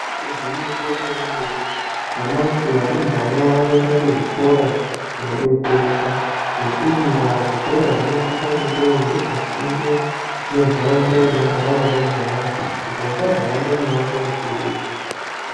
Igwinyiso re mene mene nyamashi varumbwana vanoenda ku zvikora kuno detsereka nge iyi ndaa zvikora zvinosisa kunge zviri pa sinde ne ndaraunda inogara varumbwana kuti vasazo hamba mi mango mikurutu.